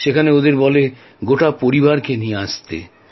সেখানে ওদের বলে গোটা পরিবারকে নিয়ে আসতে